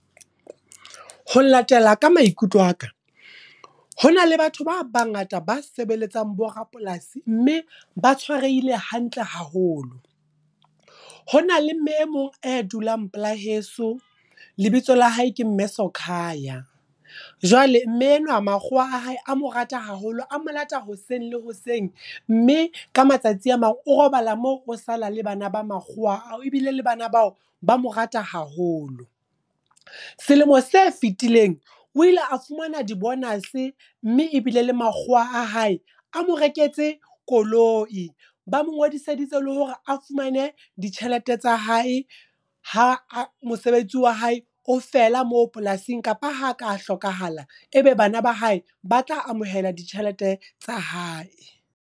Ho latela ka maikutlo a ka, ho na le batho ba bangata ba sebeletsang bo rapolasi mme ba tshwareile hantle haholo. Ho na le mme e mong e dulang pela heso, lebitso la hae ke mme Sokhaya. Jwale mme enwa makgowa a hae a mo rata haholo. A molata hoseng le hoseng, mme ka matsatsi a mang o robala moo o sala le bana ba makgowa ao. Ebile le bana bao ba mo rata haholo. Selemo se fitileng o ile a fumana di bonus, mme ebile le makgowa a hae a mo reketse koloi. Ba mo ngodiseditse le hore a fumane ditjhelete tsa hae, ha mosebetsi wa hae o fela moo polasing. Kapa ha ka hlokahala, ebe bana ba hae ba tla amohela ditjhelete tsa hae.